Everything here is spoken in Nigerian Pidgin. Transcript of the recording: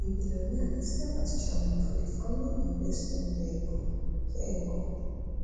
di billionaire dey serve as chairman for di family investment vehicle vehicle